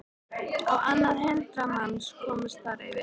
Á annað hundrað manns komust þar fyrir.